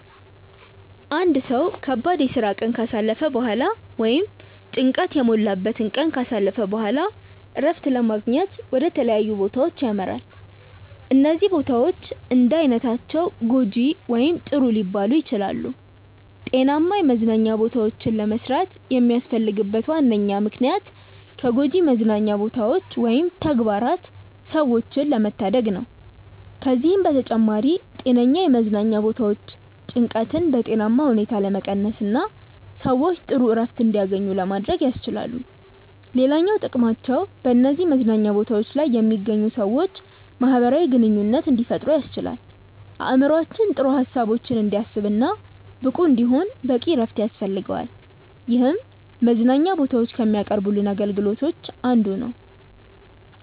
አንድ ሰው ከባድ የስራ ቀን ካሳለፈ በኋላ ወይም ጭንቀት የሞላበትን ቀን ካሳለፈ በኋላ እረፍትን ለማግኘት ወደ ተለያዩ ቦታዎች ያመራል። እነዚህ ቦታዎች እንዳይነታቸው ጐጂ ወይም ጥሩ ሊባሉ ይችላሉ። ጤናማ የመዝናኛ ቦታዎችን ለመስራት የሚያስፈልግበት ዋነኛ ምክንያት ከጎጂ መዝናኛ ቦታዎች ወይም ተግባራት ሰዎችን ለመታደግ ነው። ከዚህም በተጨማሪ ጤነኛ የመዝናኛ ቦታዎች ጭንቀትን በጤናማ ሁኔታ ለመቀነስና ሰዎች ጥሩ እረፍት እንዲያገኙ ለማድረግ ያስችላሉ። ሌላኛው ጥቅማቸው በነዚህ መዝናኛ ቦታዎች ላይ የሚገኙ ሰዎች ማህበራዊ ግንኙነት እንዲፈጥሩ ያስችላል። አእምሮአችን ጥሩ ሀሳቦችን እንዲያስብ እና ብቁ እንዲሆን በቂ እረፍት ያስፈልገዋል ይህም መዝናኛ ቦታዎች ከሚያቀርቡልን አገልግሎቶች አንዱ ነው።